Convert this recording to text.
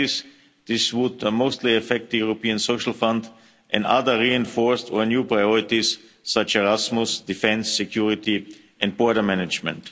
In practice, this would mostly affect the European Social Fund and other reinforced or new priorities, such as Erasmus, defence, security and border management.